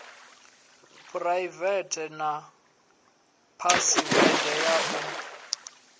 phuraivethe na phasiwede ya u